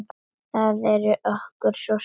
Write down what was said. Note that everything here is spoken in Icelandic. Það er okkur svo sárt.